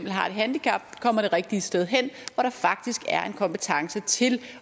har et handicap kommer det rigtige sted hen hvor der faktisk er en kompetence til